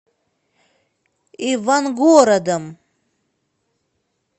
ивангородом